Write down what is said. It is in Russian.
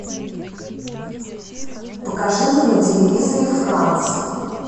покажи мне на телевизоре франц